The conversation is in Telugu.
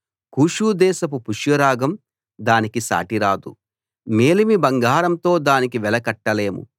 కూషు దేశపు పుష్యరాగం దానికి సాటి రాదు మేలిమి బంగారంతో దానికి వెల కట్టలేము